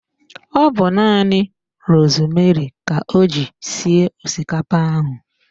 Ọ bu nanị rosmeri ka o ji sie osikapa ahụ